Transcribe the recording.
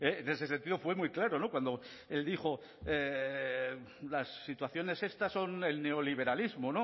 en ese sentido fue muy claro cuando dijo las situaciones estas son el neoliberalismo